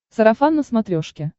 сарафан на смотрешке